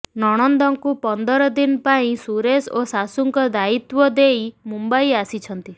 ନଣନ୍ଦଙ୍କୁ ପନ୍ଦର ଦିନ ପାଇଁ ସୁରେଶ ଓ ଶାଶୁଙ୍କ ଦାୟିତ୍ବ ଦେଇ ମୁମ୍ବାଇ ଆସିଛନ୍ତି